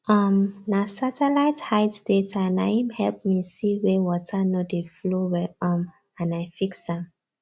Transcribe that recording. um na satellite height data na im help me see where water no dey flow well um and i fix am